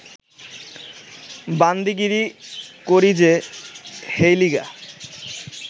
বান্দিগিরি করি যে, হেইলিগা